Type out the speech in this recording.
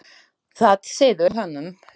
Það sýður í heilanum á honum.